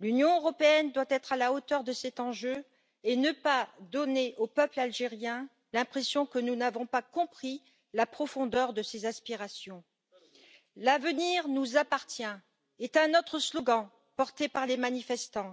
L'Union européenne doit être à la hauteur de cet enjeu et ne pas donner au peuple algérien l'impression que nous n'avons pas compris la profondeur de ses aspirations. L'avenir nous appartient est un autre slogan porté par les manifestants.